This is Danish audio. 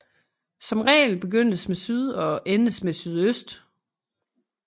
Som regel begyndes med syd og endes med sydøst